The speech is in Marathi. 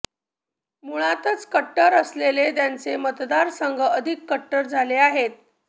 मुळातच कट्टर असलेले त्यांचे मतदारसंघ अधिक कट्टर झाले आहेत